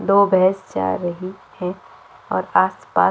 दो भैंस जा रही है और आस -पास --